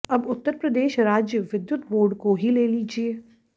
अब उत्तर प्रदेश राज्य विद्युत बोर्ड को ही ले लीजिए